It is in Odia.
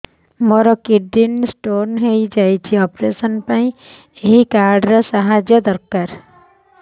ମୋର କିଡ଼ନୀ ସ୍ତୋନ ହଇଛି ଅପେରସନ ପାଇଁ ଏହି କାର୍ଡ ର ସାହାଯ୍ୟ ଦରକାର